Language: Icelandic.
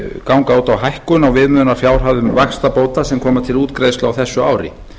ganga út á hækkun á viðmiðunarfjárhæðum vaxtabóta sem koma til útgreiðslu á þessu ári